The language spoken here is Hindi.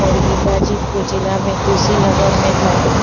और ये गाजीपुर जिला में तुसीनगर में है।